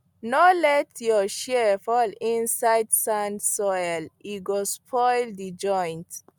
no let your shears fall inside sand soil e go spoil the joint